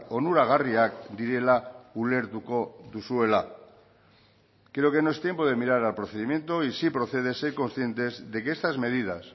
onuragarriak direla ulertuko duzuela creo que no es tiempo de mirar al procedimiento y si procede ser conscientes de que estas medidas